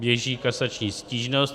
Běží kasační stížnost.